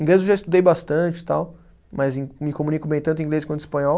Inglês eu já estudei bastante e tal, mas me comunico bem tanto em inglês quanto espanhol.